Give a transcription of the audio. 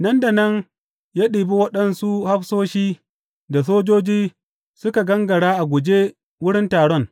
Nan da nan ya ɗibi waɗansu hafsoshi da sojoji suka gangara a guje wurin taron.